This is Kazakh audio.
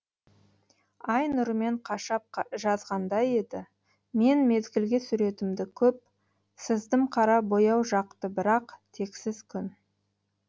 ай нұрымен қашап жазғандай еді мен мезгілге суретімді көп сыздымқара бояу жақты бірақ тексіз күн